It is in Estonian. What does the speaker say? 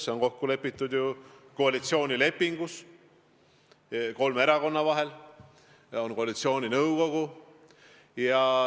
See on kokku lepitud koalitsioonilepingus kolme erakonna vahel ja tegutseb ka koalitsiooninõukogu.